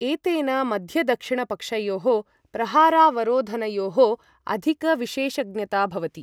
एतेन मध्य दक्षिणपक्षयोः प्रहारावरोधनयोः अधिकविशेषज्ञता भवति।